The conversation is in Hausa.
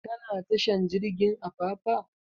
Ka na tashar jirgin apapa?